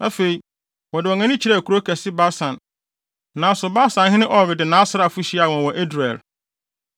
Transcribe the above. Afei, wɔde wɔn ani kyerɛɛ kurow kɛse Basan, nanso Basanhene Og de nʼasraafo hyiaa wɔn wɔ Edrei.